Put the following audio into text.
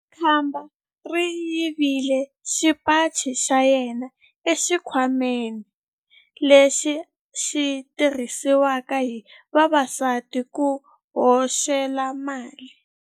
Khamba ri yivile xipaci xa yena exikhwameni lexi xi tirhisiwaka hi vavasati ku hoxela mali.